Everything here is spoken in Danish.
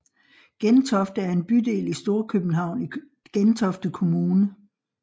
Gentofte er en bydel i Storkøbenhavn i Gentofte Kommune